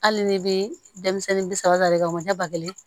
Hali ni bɛ denmisɛnnin bi saba de kɛ o ɲɛ ba kelen